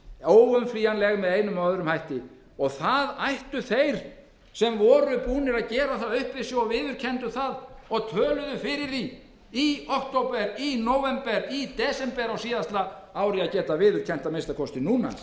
var rætt og upplýst þá það ætti að stytta þann tíma sem alþingi þarf til vandaðrar umfjöllunar það eru ríkar ástæður til að alþingi afgreiði þetta mál sem fyrst í því efni má nefna að matsfyrirtækin sem undanfarnar vikur hafa beðið með endurskoðanir sínar á mati